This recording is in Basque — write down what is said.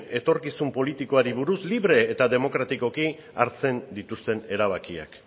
etorkizun politikoari buruz libre eta demokratikoki hartzen dituzten erabakiak